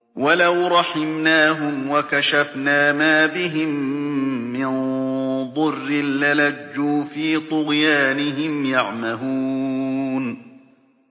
۞ وَلَوْ رَحِمْنَاهُمْ وَكَشَفْنَا مَا بِهِم مِّن ضُرٍّ لَّلَجُّوا فِي طُغْيَانِهِمْ يَعْمَهُونَ